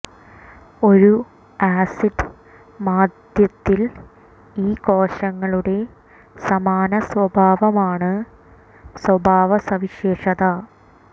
ഒരു ആസിഡ് മാധ്യത്തിൽ ഈ കോശങ്ങളുടെ സമാന സ്വഭാവമാണ് സ്വഭാവ സവിശേഷത